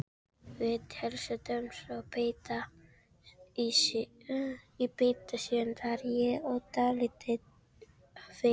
Við heilsuðumst og í þetta sinn var ég dálítið feimin.